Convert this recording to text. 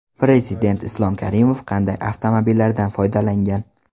Prezident Islom Karimov qanday avtomobillardan foydalangan?